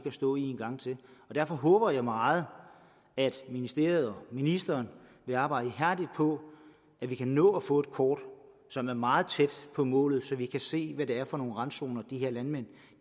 at stå i en gang til og derfor håber jeg meget at ministeriet og ministeren vil arbejde ihærdigt på at vi kan nå at få et kort som er meget tæt på målet så vi kan se hvad det er for nogle randzoner de her landmænd